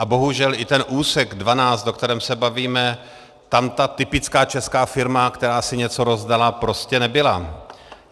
A bohužel i ten úsek 12, o kterém se bavíme, tam ta typická česká firma, která si něco rozdala, prostě nebyla.